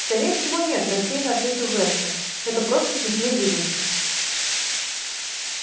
скорее всего нет рассеянно ответа вестон это просто смешные выдумки